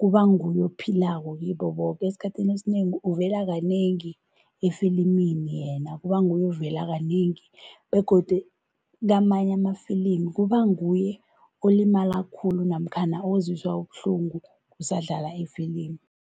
kuba nguye ophilako kibo boke. Esikhathini esinengi uvela kanengi efilimini yena, kuba nguye ovela kanengi begodu kamanye amafilimi kuba nguye olimala khulu namkhana ozwiswa ubuhlungu kusadlala ifilimi.